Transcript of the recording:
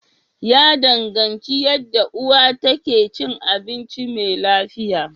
Ya danganci yanda uwar ta ke cin abinci mai lafiya.